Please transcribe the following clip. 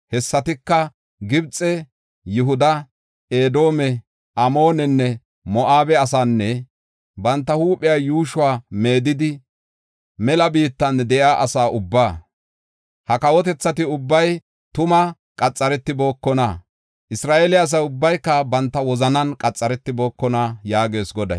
Hessatika Gibxe, Yihuda, Edoome, Amoonenne Moo7abe asaanne banta huuphiya yuushuwa meedidi, mela biittan de7iya asa ubbaa. Ha kawotethati ubbay tuma qaxaretibookona; Isra7eele asa ubbayka banta wozanan qaxaretibookona” yaagees Goday.